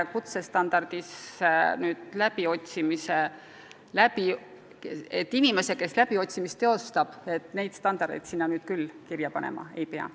Kutsestandardisse läbiotsimise oskust küll kirja panema ei pea.